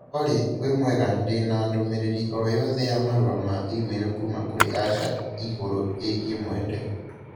Olly, wĩmwega ndĩ na ndũmĩrĩri o yothe ya marũa ma e-mai kuuma kũrĩ Asha igũrũ ĩgiĩ mwende